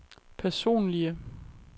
personlige